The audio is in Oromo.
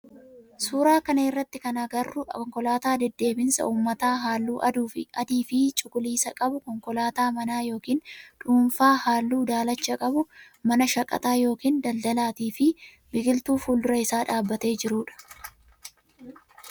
suuraa kana irratti kan agarru konkolaataa deddeebisa ummataa halluu adii fi cuqulisa qabu , konkolaataa mana ykn dhuunfaa halluu daalacha qabu, mana shaqaxaa ykn daldalaatii fi biqiltuu fuuldura isaa dhabbatee jiruudha.